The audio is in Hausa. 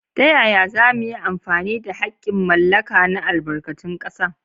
Ta yaya za mu yi amfani da haƙƙin mallaka na albarkatun ƙasa?